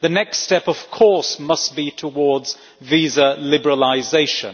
The next step, of course, must be towards visa liberalisation.